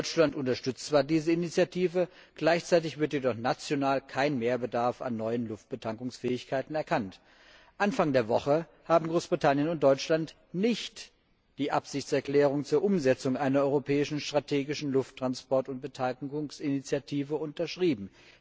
Deutschland unterstützt zwar diese Initiative, gleichzeitig wird jedoch national kein Mehrbedarf an neuen Luftbetankungsfähigkeiten erkannt. Anfang der Woche haben Großbritannien und Deutschland nicht die Absichtserklärung zur Umsetzung einer europäischen strategischen Lufttransport und Beteiligungsinitiative unterschrieben.